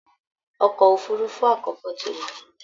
Ọkọ̀ òfurufú àkọ́kọ́ ti lọ